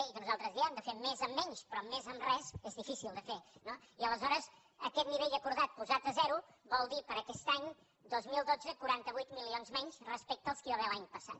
i que nosaltres diem de fer més amb menys però més amb res és difícil de fer no i aleshores aquest nivell acordat posat a zero vol dir per a aquest any dos mil dotze quaranta vuit milions menys respecte dels que hi va haver l’any passat